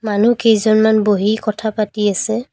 মানুহকেইজনমান বহি কথা পাতি আছে।